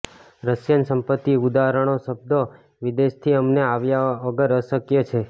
Russian સંપત્તિ ઉદાહરણો શબ્દો વિદેશથી અમને આવ્યા વગર અશક્ય છે